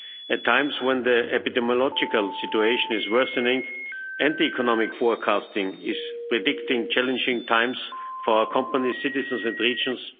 At times, when the epidemiological situation is worsening, and economic forecasting is predicting challenging times for our companies, citizens and regions.